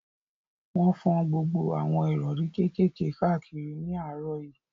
Wọ́n fọ́n gbogbo àwọn ìrọ̀rí kékèké káàkiri ní àárọ̀ yìí